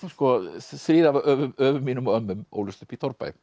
þrír af öfum öfum mínum og ömmum ólust upp í torfbæ